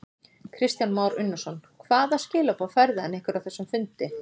Kristján Már Unnarsson: Hvaða skilaboð færði hann ykkur á þessum fundi?